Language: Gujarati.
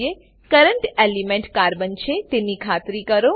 current element current element carbon છે તેની ખાતરી કરો